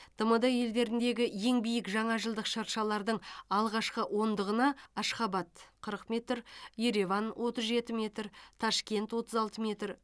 тмд елдеріндегі ең биік жаңа жылдық шыршалардың алғашқы ондығына ашхабад қырық метр ереван отыз жеті метр ташкент отыз алты метр